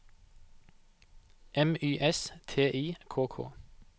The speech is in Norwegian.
M Y S T I K K